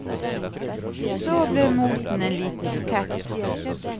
Så ble moten en liten bukett.